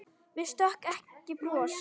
Mér stökk ekki bros.